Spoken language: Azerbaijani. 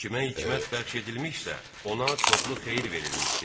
Kimə hikmət bəxş edilmişsə, ona çoxlu xeyir verilmişdir.